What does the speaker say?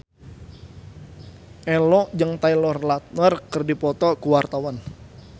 Ello jeung Taylor Lautner keur dipoto ku wartawan